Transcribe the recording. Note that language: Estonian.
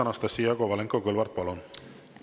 Anastassia Kovalenko-Kõlvart, palun!